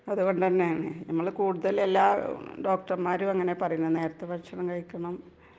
അത് തന്നെ .കൂടുതൽ എല്ലാ ഡോക്ടർമാരും അംഗം പറയുന്നേ .നേരത്തെ ഭക്ഷണം കഴിക്കണം എന്ന് .